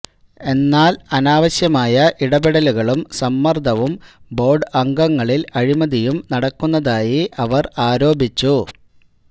എന്നാല് അനാവശ്യമായ ഇടപെടലുകളും സമ്മര്ദ്ദവും ബോര്ഡ് അംഗങ്ങളില് അഴിമതിയും നടക്കുന്നതായി അവര് ആരോപിച്ചു